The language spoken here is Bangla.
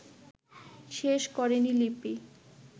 শেষ করেন লিপি